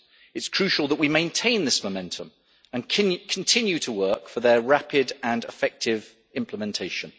It is crucial that we maintain this momentum and continue to work for their rapid and effective implementation.